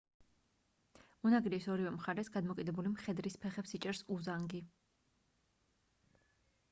უნაგირის ორივე მხარეს გადმოკიდებული მხედრის ფეხებს იჭერს უზანგი